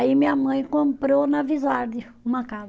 Aí minha mãe comprou na uma casa.